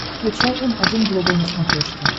включай м один глобал на смотрешке